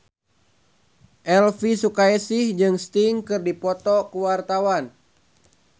Elvy Sukaesih jeung Sting keur dipoto ku wartawan